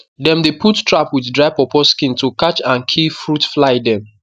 dem dey put trap with dry pawpaw skin to catch and kill fruit fly dem